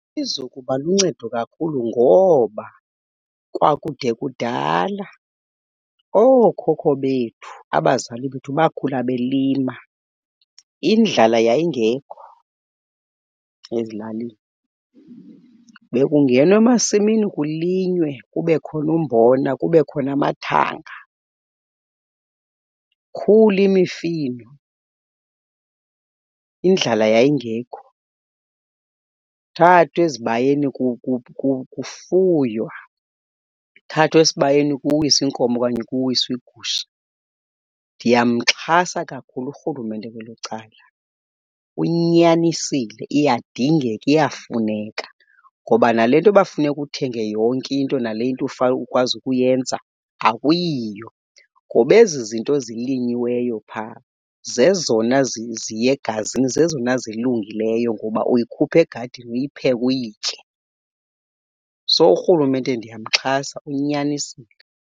Iza kuba luncedo kakhulu ngoba kwakude kudala ookhokho bethu, abazali bethu bakhula belima. Indlala yayingekho ezilalini, bekungenwa emasimini kulinywe, kube khona umbona kube khona amathanga, ikhule mifino. Indlala yayingekho, thathwe ezibayeni kufuywa, kuthathwa esibayeni kuwiswe inkomo okanye kuwiswe igusha. Ndiyamxhasa kakhulu urhulumente kwelo cala. Unyanisile, iyadingeka iyafuneka ngoba nale nto uba funeka uthenge yonke into nale nto ukwazi ukuyenza akuyiyo. Ngoba ezi zinto zilinyiweyo phaa zezona ziya egazini zezona zilungileyo ngoba uyikhupha egadini uyipheke uyitye. So urhulumente ndiyamxhasa, unyanisile.